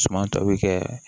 Suman tɔ bɛ kɛ